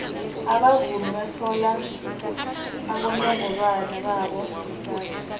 abavumi bathola abonongorwana babo kusasa